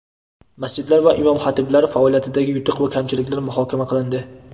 masjidlar va imom-xatiblar faoliyatidagi yutuq va kamchiliklar muhokama qilindi.